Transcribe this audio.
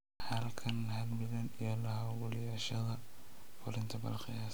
Halkan, halbillion iyo la-hawlgalayaashooda fulinta Bal qiyaas